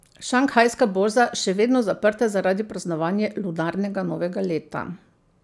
Šanghajska borza še vedno zaprta zaradi praznovanja lunarnega novega leta.